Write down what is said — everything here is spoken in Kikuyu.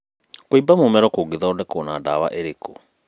kũimba mũmero kũngĩthondekwo na dawa irĩkũ?